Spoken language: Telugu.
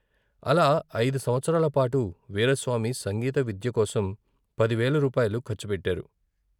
అలా ఐదు సంవత్సరాల పాటు వీరాస్వామి సంగీత విద్యకోసం పదివేల రూపాయలు ఖర్చు పెట్టారు.